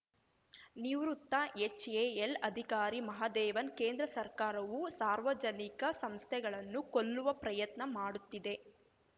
ನಿವೃತ್ತ ಎಚ್‌ಎಎಲ್‌ ಅಧಿಕಾರಿ ಮಹದೇವನ್‌ ಕೇಂದ್ರ ಸರ್ಕಾರವು ಸಾರ್ವಜನಿಕ ಸಂಸ್ಥೆಗಳನ್ನು ಕೊಲ್ಲುವ ಪ್ರಯತ್ನ ಮಾಡುತ್ತಿದೆ